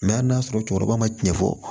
hali n'a sɔrɔ cɛkɔrɔba ma cɛn fɔ